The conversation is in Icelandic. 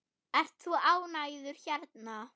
Ert þú ánægður hérna?